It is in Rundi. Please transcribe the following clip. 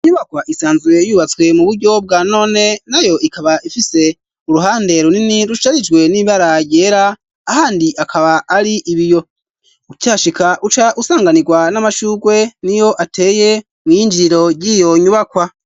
Inyubakwa isanzwe yubatswe mu buryo bwa none nayo ikaba ifise uruhande runini rusharijwe n'ibara ryera ahandi akaba ari ibiyo ukihashika uca usanganirwa n'amashurwe niyo ateye mw'iyinjiriro ryiyo nyubakwa.